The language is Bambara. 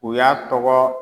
U y'a tɔgɔ